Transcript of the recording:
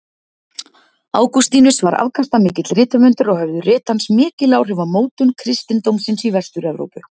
Ágústínus var afkastamikill rithöfundur og höfðu rit hans mikil áhrif á mótun kristindómsins í Vestur-Evrópu.